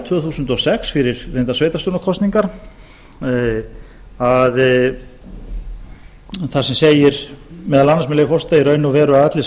tvö þúsund og sex fyrir reyndar sveitarstjórnarkosningar þar sem segir meðal annars með leyfi forseta í raun og veru eru allir